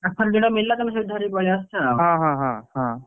ପାଖରେ ଯୋଉଟା ମିଳିଲା ତମେ ସେଇଠୁ ଧରିକି ପଳେଇ ଆସୁଛ ଆଉ,